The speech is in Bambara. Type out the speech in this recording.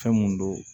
Fɛn mun don